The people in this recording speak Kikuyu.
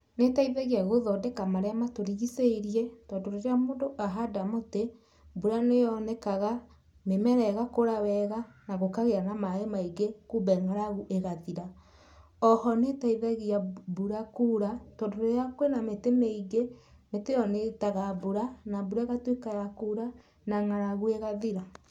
Nĩ ĩteithagia gũthondeka marĩa matũrigicĩirie, tondũ rĩrĩa mũndũ ahanda mũtĩ, mbura nĩ yonekaga, mĩmera ĩgakũra wega na gũkagĩa na maĩ maingĩ kumbĩ ng'aragu ĩgathira. Oho nĩteithagia mbura kuura tondũ rĩrĩa kwĩna mĩtĩ mĩingĩ, mĩtĩ ĩyo nĩ ĩtaga mbura na mbura ĩgatuĩka ya kuura na ng'aragu ĩgathira.